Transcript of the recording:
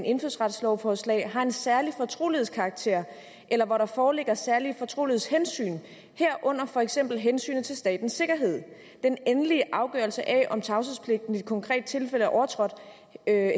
indfødsretslovforslag har en særlig fortrolighedskarakter eller hvor der foreligger særlige fortrolighedshensyn herunder for eksempel hensynet til statens sikkerhed den endelige afgørelse af om tavshedspligten i det konkrete tilfælde er overtrådt